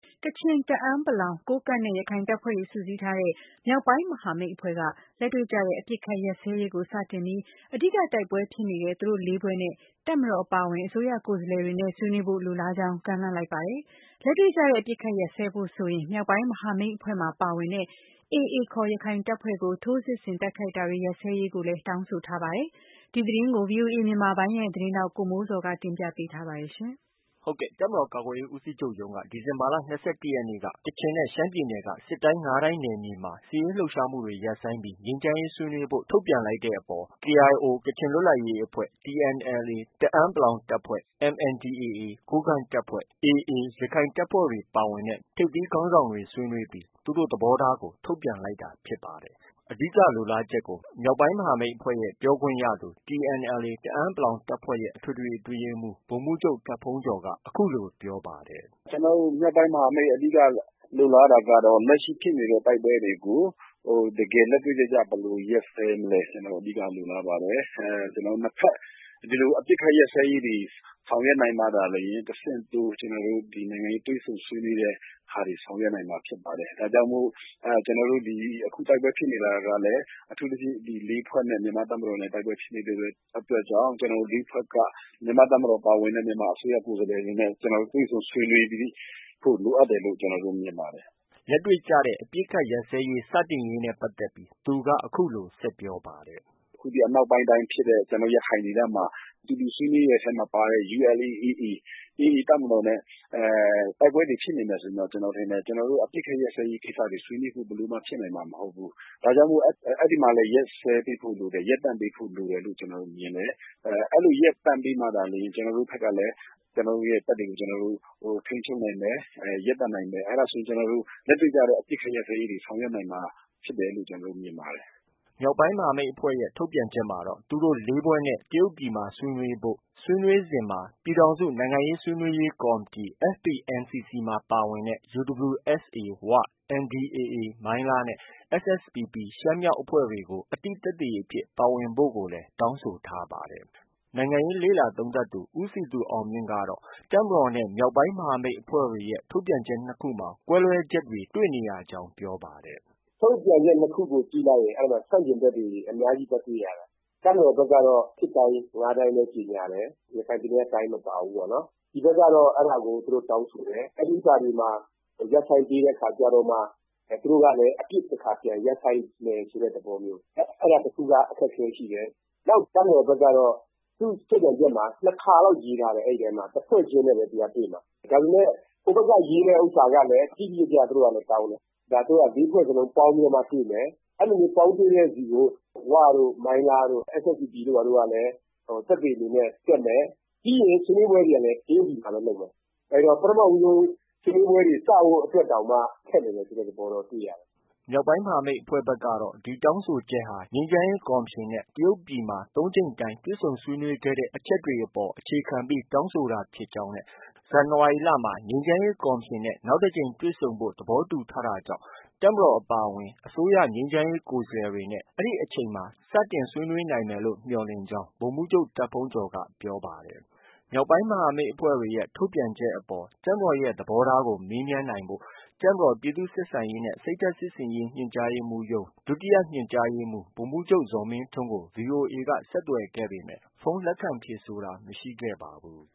ကချင်၊ တအန်း ၊ ကိုးကန့်နဲ့ ရခိုင်တပ်ဖွဲ့တွေ စုစည်းထားတဲ့ မြောက်ပိုင်းမဟာမိတ်အဖွဲ့က လက်တွေ့ ကျတဲ့ အပစ်အခတ်ရပ်စဲရေးကို စတင်ပြီး အဓိက တိုက်ပွဲဖြစ်နေတဲ့ သူတို့ ၄ ဖွဲ့နဲ့ တပ်မတော်အပါအဝင် အစိုးရ ကိုယ်စားလှယ်တွေနဲ့ ဆွေးနွေးဖို့ လိုလားကြောင်း ကမ်းလှမ်းလိုက် ပါတယ်။ လက်တွေ့ကျတဲ့ အပစ်အခတ် ရပ်စဲ ဖို့ဆိုရင် မြောက်ပိုင်းမဟာမိတ် အဖွဲ့မှာပါဝင်တဲ့ AA ခေါ် ရခိုင်တပ်ဖွဲ့ကို ထိုးစစ်ဆင်တိုက်ခိုက်တာတွေ ရပ်စဲရေး ကို တောင်းဆိုထားပါတယ်။ ဒီသတင်းကို ဗွီအိုအေမြန်မာပိုင်းသတင်းထောက် ကိုမိုးဇော်ကတင်ပြထားပါတယ်။ တပ်မတော်ကာကွယ်ရေးဦးစီးချုပ်ရုံးက ဒီဇင်ဘာလ ၂၁ ရက်နေ့က ကချင်နဲ့ရှမ်းပြည်နယ်ရှိ စစ်တိုင်း ၅ တိုင်း နယ်မြေမှာ စစ်ရေးလှုပ်ရှားမှုတွေ ရပ်ဆိုင်းပြီး ငြိမ်းချမ်းရေးဆွေးနွေးဖို့ ထုတ်ပြန်လိုက်တဲ့ အပေါ် KIA ကချင် လွတ်လပ်ရေး အဖွဲ့၊ TNLA တအန်း တပ်ဖွဲ့၊ MNDAA ကိုးကန့်တပ်ဖွဲ့၊ AA ရခိုင်တပ်ဖွဲ့တွေပါဝင်တဲ့ မြောက်ပိုင်းမဟာမိတ်အဖွဲ့က ထိပ်သီးခေါင်းဆောင်တွေ ဆွေးနွေးပြီး သူတို့ သဘောထားကို ထုတ်ပြန်လိုက်တာ ဖြစ်ပါတယ်။ အဓိက လိုလားချက်ကို မြောက်ပိုင်းမဟာမိတ်အဖွဲ့ရဲ့ ပြောခွင့်ရသူ TNLA တအန်း တပ်ဖွဲရဲ့ အထွေထွေအတွင်းရေးမှူး ဗိုလ်မှူးချုပ် တာဘုန်းကျော်က အခုလို ပြောပါတယ်။ “ကျနော်တို့ မြောက်ပိုင်းမဟာမိတ် အဓိက လိုလားတာကတော့ လက်ရှိဖြစ်နေတဲ့ တိုက်ပွဲတွေကို လက်တွေ့ ကျကျ ဘယ်လို ရပ်စဲမလဲ။ ကျနော်တို့ အဓိက လိုလားပါတယ်။ ကျနော်တို့ နှစ်ဘက် ဒီလို အပစ်အခတ်ရပ်စဲ ရေးတွေ ဆောင်ရွက်နိုင်မှသာလျှင် တဆင့်တိုး နိုင်ငံရေးတွေ့ဆုံဆွေးနွေးတဲ့ ဟာတွေ ဆောင်ရွက်နိုင်မှာ ဖြစ်ပါတယ်။ ဒါကြောင့်မို့ ကျနော်တို့ အခု တိုက်ပွဲဖြစ်နေတာကလည်း အထူးသဖြင့် ဒီ ၄ ဖွဲ့နဲ့ မြန်မာ့တပ်မတော် တိုက်ပွဲဖြစ်နေတဲ့အတွက်ကြောင့် ကျနော်တို့ ၄ ဖွဲ့က မြန်မာ့တပ်မတော်ပါဝင်တဲ့ မြန်မာအစိုးရကိုယ်စားလှယ် တွေနဲ့ တွေ့ဆုံဆွေးနွေးဖို့ လိုအပ်တယ်လို့ မြင်ပါတယ်။” လက်တွေ့ကျတဲ့အပစ်အခတ်ရပ်စဲရေးစတင်ရေးနဲ့ပတ်သက်ပြီး အခုလို ဆက်ပြောပါတယ်။ “အခုအနောက်ပိုင်းတိုင်းဖြစ်တဲ့ ရခိုင်ဒေသမှာ အတူတူဆွေးနွေးတဲ့အထဲမှာ ပါတဲ့ ULA/AA ၊ AA တပ်မတော်နဲ့ တိုက်ပွဲတွေဖြစ်နေမယ်ဆိုရင် ကျနော်ထင်တယ်၊ ကျနော်တို့ အပစ်အခတ်ရပ်စဲရေး ကိစ္စတွေ ဆွေးနွေးဖို့ ဘယ်လို မှ ဖြစ်နိုင်မှာမဟုတ်ဘူး။ ဒါကြောင့်မို့ အဲဒီမှာလည်း ရပ်စဲရေးပေးဖို့ လိုတယ်။ ရပ်တန့်ပေးဖို့လိုတယ်လို့ ကျနော်တို့ မြင်တယ်။ အဲလို ရပ်တန့်ပေးမှာသာလျှင် ကျနော်တို့ ဘက်ကလည်း ကျနော်တို့ရဲ့တပ်တွေကို ကျနော်တို့ ထိန်းချုပ်နိုင်မယ်။ ရပ်တန့်နိုင်မယ်။ အဲဒါဆိုရင် လက်တွေ့ကျတဲ့ အပစ်အခတ်ရပ်စဲရေးတွေ ဆောင်ရွက်နိုင်မှာ ဖြစ်တယ်လို့ ကျနော်တို့ မြင်ပါတယ်။” မြောက်ပိုင်းမဟာမိတ်အဖွဲ့ရဲ့ ထုတ်ပြန်ချက်မှာတော့ သူတို့ ၄ ဖွဲ့နဲ့ တရုတ်ပြည်မှာ ဆွေးနွေးဖို့နဲ့ ဆွေးနွေးစဉ်မှာ ပြည်ထောင်စုနိုင်ငံရေးဆွေးနွေးရေးကော်မတီ FPNCC မှာ ပါဝင်တဲ့ UWSA- ဝ၊ NDAA မိုင်းလားနဲ့ SSPP ရှမ်း- မြောက်အဖွဲ့တွေကို အသိသက်သေအဖြစ် ပါဝင်ဖို့လည်း တောင်းဆို ထားပါတယ်။ နိုင်ငံရေးလေ့လာသုံးသပ်သူ ဦးစည်သူအောင်မြင့်ကတော့ တပ်မတော်နဲ့ မြောက်ပိုင်းမဟာမိတ် အဖွဲ့တွေရဲ့ ထုတ်ပြန်ချက်နှစ်ခုမှာ ကွဲလွဲချက်တွေ တွေ့နေရကြောင်း ပြောပါတယ်။ “ထုတ်ပြန်ချက် ၂ ခုကို ကြည့်လိုက်ရင် ကွဲလွဲချက်တွေ အများကြီးသွားတွေ့ရတယ်။ တပ်မတော် ဘက်ကတော့ စစ်တိုင်း ၅ တိုင်းပဲ ကြေညာတယ်။ ရခိုင်ပြည်နယ်က တိုင်းမပါဘူးပေါ့။ ဒီဘက် ကတော့ အဲဒါကို တောင်းဆို တယ်။ အဲဒါတွေမှာ ရပ်ဆိုင်းပေးတဲ့အခါကျတော့မှ သူတို့ကလည်း အပစ်တခါပြန်ရပ်ဆိုင်းမယ်ဆိုတဲ့သဘောမျိုး အဲဒါတခုက အခက်အခဲရှိတယ်။ နောက် တပ်မတော် ဘက်ကတော့ သူ့ ထုတ်ပြန်ချက်မှာ ၂ ခါလောက် ရေးထားတယ်။ အဲဒီထဲမှာ တဖွဲ့ချင်းနဲ့ပဲ တွေ့မှာ။ ဒါပေမဲ့ ဟိုဘက်က ရေးတဲ့ဟာကလည်း တိတိကျကျပဲ သူတို့ကလည်း တောင်းတယ်။ သူတို့က ၄ ဖွဲ့လုံးပေါင်းပြီးတော့ တွေ့မယ်။ အဲလိုမျိုးပေါင်းတွေ့တဲ့ဆီကို ဝတို့၊ မိုင်းလားတို့၊ SSPP တို့ကလည်း သက်သေအနေနဲ့ တက်မယ်။ ပြီးရင်ဆွေးနွေးပွဲတွေကလည်း တရုတ်ပြည်မှာပဲ လုပ်မယ်။ အဲတော့ ပထမဆုံး ဆွေးနွေးပွဲတွေ စဖို့အတွက်တောင်မှ ခက်နေမယ်ဆိုတဲ့သဘောတော့ တွေ့ရတယ်။” မြောက်ပိုင်းမဟာမိတ်ဘက်ကတော့ ဒီတောင်းဆိုတာဟာ ငြိမ်းချမ်းရေးကော်မရှင်နဲ့ တရုတ်ပြည်မှာ ၃ ကြိမ်တိုင် တွေ့ဆုံဆွေးနွေးခဲ့တဲ့ အချက်အပေါ် အခြေခံပြီးတောင်းဆိုတာဖြစ်ကြောင်း၊ ဇန်နဝါရီလမှာ ငြိမ်းချမ်းရေး ကော်မရှင်နဲ့ နောက်တစ်ကြိမ် တွေ့ဆုံဖို့ သဘောတူထားတာကြောင့် တပ်မတော် အပါအဝင် အစိုးရငြိမ်းချမ်းရေး ကိုယ်စားလှယ်တွေနဲ့ အဲဒီအချိန်မှာ စတင်ဆွေးနွေးနိုင်မယ်လို့ မျှော်လင့်ကြောင်း ဗိုလ်မှူးချုပ် တာဘုန်းကျော်က ပြောပါတယ်။ မြောက်ပိုင်းမဟာမိတ်အဖွဲ့တွေရဲ့ ထုတ်ပြန်ချက်အပေါ် တပ်မတော်ရဲ့ သဘောထားကို မေးမြန်းနိုင်ဖို့ တပ်မတော် ပြည်သူ့ဆက်ဆံရေးနဲ့ စိတ်ဓါတ်စစ်ဆင်ရေး ညွန်ကြားရေးမှူးရုံး၊ ဒုတိယညွန်ကြားရေး မှူး ဗိုလ်မှူးချုပ် ဇော်မင်းထွန်း ကို ဗွီအိုအေက ဆက်သွယ်ခဲ့ပေမယ့် ဖုန်းလက်ခံဖြေဆိုတာ မရှိခဲ့ပါဘူး